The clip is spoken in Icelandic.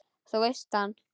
Þú veist að hann.